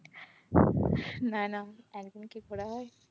না না একদিনে কি ঘোরা হয়?